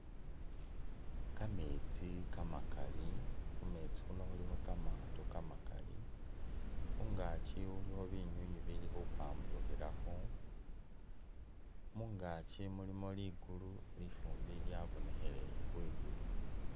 Kametsi kamakali ,khumetsi khuno khulikho kamaato kamakali ,khungaaki khulikho binywinywi bili khupamburukhilakho ,mungaaki mulimo ligulu, lifumbi lyabonekhelele khwi'gulu